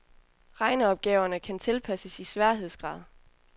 Regneopgaverne kan tilpasses i sværhedsgrad.